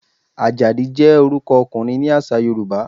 Àjàdí jẹ́ orúkọ ọkùnrin ní àṣà Yorùbá.